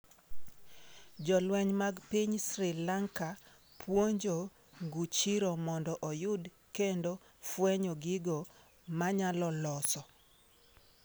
Jolweny mag piny Sri Lanka puonjo nguchiro mondo oyud kendo fwenyo gigo manyalo loso